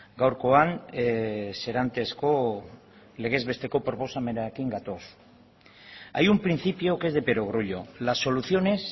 gaurkoan serantesko legez besteko proposamenarekin gatoz hay un principio que es de perogrullo las soluciones